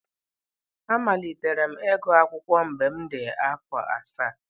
Amalitere m ịgụ akwukwo mgbe m dị afọ asaa.